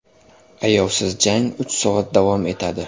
Ayovsiz jang uch soat davom etadi.